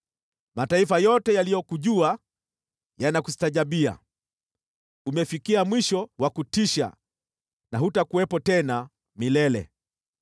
Mataifa yote yaliyokujua yanakustajabia; umefikia mwisho wa kutisha na hutakuwepo tena milele.’ ”